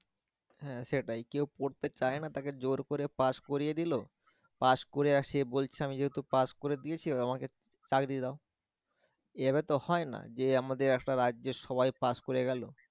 হ্যাঁ সেটাই কেউ পড়তে চায় না তাকে জোর করে pass করিয়ে দিল, pass করে আর সে বলছে আমি তো pass করে ফেলেছি এবার আমাকে চাবি দিয়ে দেও, এভাবে তো হয়না যে আমাদের একটা রাজ্যের সবাই pass করে গেলো